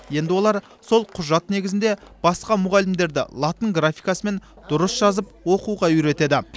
енді олар сол құжат негізінде басқа мұғалімдерді латын графикасымен дұрыс жазып оқуға үйретеді